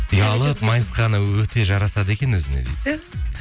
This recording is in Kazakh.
ұялып майысқаны өте жарасады екен өзіне дейді түһ